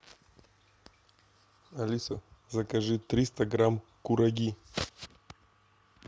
алиса закажи триста грамм кураги